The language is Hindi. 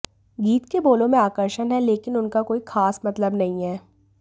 गीत के बोलों में आकर्षण है लेकिन उनका कोई खास मतलब नहीं है